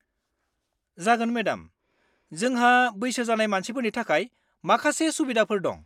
-जागोन, मेडाम। जोंहा बैसो जानाय मानसिफोरनि थाखाय माखासे सुबिदाफोर दं।